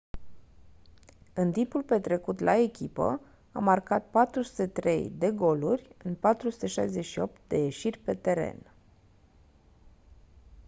în timpul petrecut la echipă a marcat 403 de goluri în 468 de ieșiri pe teren